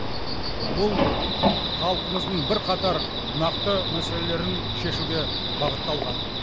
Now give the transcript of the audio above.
бұл халқымыздың бірқатар нақты мәселелерін шешуге бағытталған